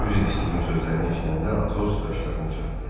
Üzr istəyim sözlərini eşidəndə Atos qaşlarını çattı.